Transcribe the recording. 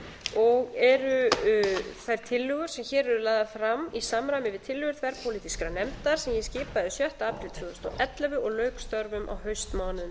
og eru þær tillögur sem hér eru lagðar fram í samræmi við tillögur þverpólitískrar nefndar sem ég skipaði sjötta apríl tvö þúsund og ellefu og lauk störfum á haustmánuðum